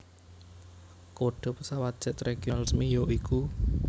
Kode pesawat Jet Regional resmi ya iku